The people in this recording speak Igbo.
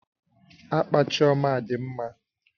Akpa Chioma dị mma